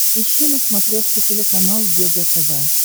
ищи на смотрешке телеканал егэ тв